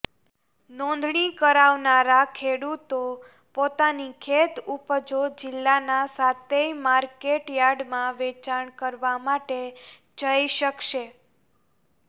નોંધણી કરાવનારા ખેડૂતો પોતાની ખેત ઉપજો જિલ્લાના સાતેય માર્કેટ યાર્ડમાં વેચાણ કરવા માટે જઇ શકશે